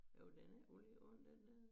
Jo den er ulige hund den dér